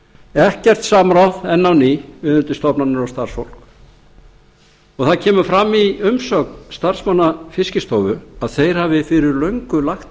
ekkert samráð enn á ný við undirstofnanir og starfsfólk það kemur fram í umsögn starfsmanna fiskistofu að þeir hafi fyrir löngu lagt